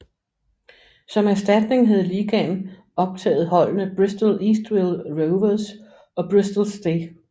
Som erstatning havde ligaen optaget holdene Bristol Eastville Rovers og Bristol St